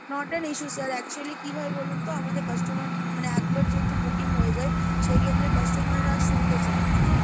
not an issue sir actually কি হয় বলুন তো? আমাদের customer মানে একবার যেহেতু booking হয়ে যায় সেই ক্ষেত্রে customer রা শুনতে চায় না হ্যাঁ।